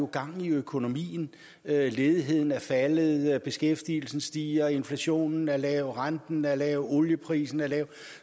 gang i økonomien ledigheden er faldet beskæftigelsen stiger inflationen er lav renten er lav olieprisen er lav